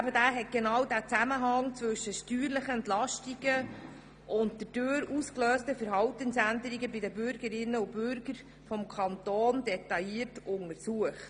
Der Bericht hat den Zusammenhang zwischen steuerlichen Entlastungen und den dadurch ausgelösten Verhaltensänderungen bei den Bürgerinnen und Bürgern detailliert untersucht.